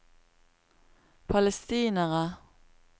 palestinere